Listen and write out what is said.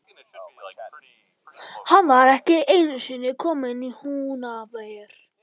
Hann var ekki einusinni kominn í Húnaver.